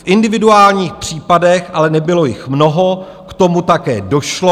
V individuálních případech, ale nebylo jich mnoho, k tomu také došlo.